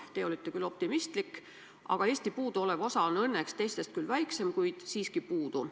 Te olete küll optimistlik, aga Eesti puuduolev osa on õnneks küll teiste omast väiksem, kuid siiski puudu.